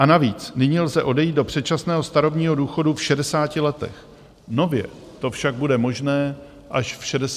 A navíc nyní lze odejít do předčasného starobního důchodu v 60 letech, nově to však bude možné až v 62 letech.